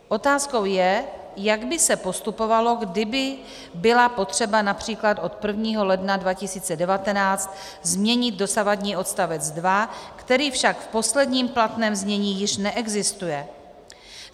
Otázkou je, jak by se postupovalo, kdyby bylo potřeba například od 1. ledna 2019 změnit dosavadní odstavec 2, který však v posledním platném znění již neexistuje.